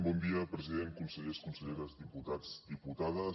bon dia president consellers conselleres diputats diputades